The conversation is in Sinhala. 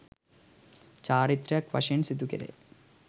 චාරිත්‍රයක් වශයෙන් සිදුකෙරෙයි.